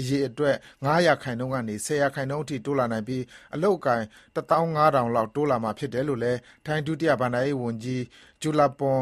အရေအတွက် ၅ ရာခိုင်နှုန်းကနေ ၁၀ ရာခိုင်နှုန်းအထိ တိုးလာနိုင်ပြီး အလုပ် အကိုင် ၁၅,၀၀၀ လောက် တိုးလာမှာဖြစ်တယ်လို့လည်း ထိုင်း ဒုတိယ ဘဏ္ဍာရေးဝန်ကြီး Julapun